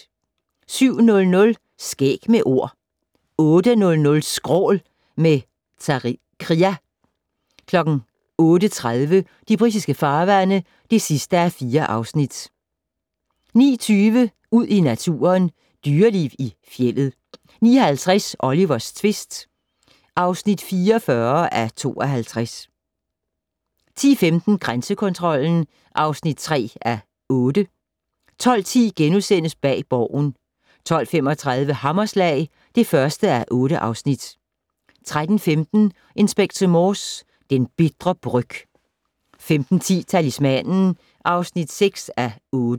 07:00: Skæg med Ord 08:00: Skrål - med Zakria 08:30: De britiske farvande (4:4) 09:20: Ud i naturen: Dyreliv i fjeldet 09:50: Olivers tvist (44:52) 10:15: Grænsekontrollen (3:8) 12:10: Bag Borgen * 12:35: Hammerslag (1:8) 13:15: Inspector Morse: Den bitre bryg 15:10: Talismanen (6:8)